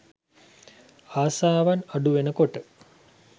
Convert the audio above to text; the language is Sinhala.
ආසාවන් අඩු වෙන කොට